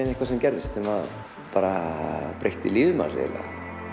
eitthvað sem gerðist breytti lífi manns eiginlega